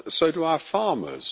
so do our farmers.